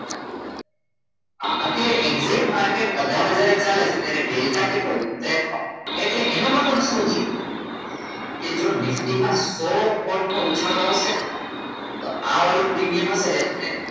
અત્યારે એક્ઝેટમાર્કેટ અઢાર હજાર એ ચાલે છે ત્યારે ડેલ્ટા કેટલો છે તેપન એટલે એનો મતલબ શું છે કે જો નિફ્ટીમાં સો પોઇન્ટ નો ઉછાળો આવશે ને તો આવડવું પ્રીમિયમ હશે ને તો તમને